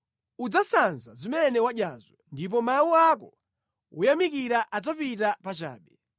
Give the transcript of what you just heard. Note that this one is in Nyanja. Udzasanza zimene wadyazo ndipo mawu ako woyamikira adzapita pachabe.